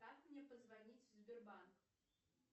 как мне позвонить в сбербанк